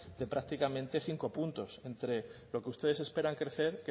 de prácticamente cinco puntos entre lo que ustedes esperan crecer